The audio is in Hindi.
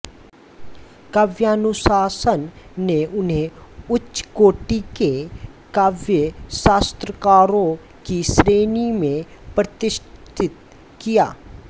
काव्यानुशासन ने उन्हें उच्चकोटि के काव्यशास्त्रकारों की श्रेणी में प्रतिष्ठित किया